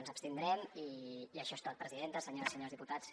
ens abstindrem i això és tot presidenta senyores i senyors diputats